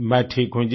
मैं ठीक हूँ जी